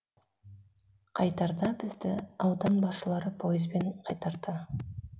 қайтарда бізді аудан басшылары пойызбен қайтарды